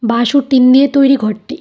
বাঁশ ও টিন দিয়ে তৈরি ঘরটি।